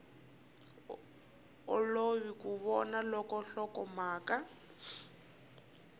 olovi ku vona loko nhlokomhaka